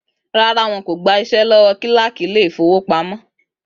Rárá, wọn kò gba iṣẹ́ lọ́wọ́ kílákì Ilé-ìfowópamó